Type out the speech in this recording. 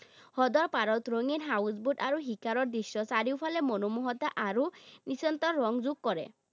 হ্ৰদৰ পাৰত ৰঙীন houseboat আৰু শিখৰৰ দৃশ্য, চাৰিওফালে মনোমোহতা আৰু ৰং যোগ কৰে।